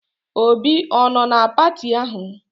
Obi ọ nọ na pati ahụ?